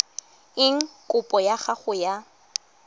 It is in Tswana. eng kopo ya gago e